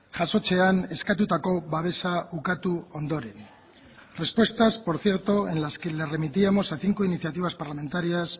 jasotzean eskatutako babesa ukatu ondoren respuestas por cierto en las que les remitíamos a cinco iniciativas parlamentarias